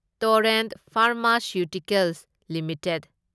Torrent pharmaceuticals limited